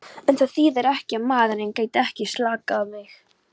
En það þýðir ekki að maðurinn geti ekki skaðað mig.